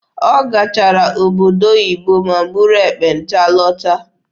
Ọ gachara obodo oyibo ma buru ekpenta lọta.